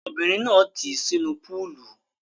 Ọmọbìnrin náà tì í sínú púúlù.